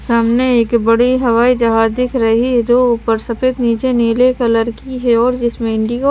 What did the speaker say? सामने एक बड़ी हवाई जहाज दिख रही है जो ऊपर सफेद नीचे नीले कलर की है और जिसमे इंडिगो --